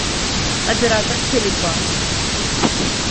оператор теле два